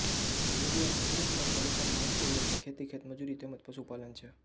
બોરીયા ખુરદ ગામના લોકોનો મુખ્ય વ્યવસાય ખેતી ખેતમજૂરી તેમ જ પશુપાલન છે